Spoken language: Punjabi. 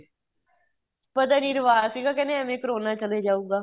ਪਤਾ ਨਹੀਂ ਰਿਵਾਜ ਸੀਗਾ ਕਹਿੰਦੇ ਐਵੇ ਕਰੋਨਾ ਚੱਲੇ ਜਾਉਗਾ